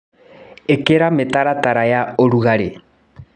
Ĩkĩra mĩtaratara ya ũrugarĩ.